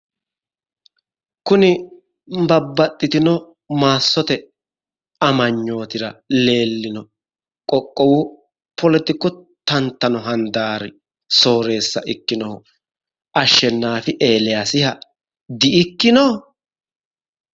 Kuni babbaxxitino maassote amanyootira leellino qoqqowu poletiku tantano handaari sooreessa ikkinohu ashshenaafi eeliyasiha di"ikkino?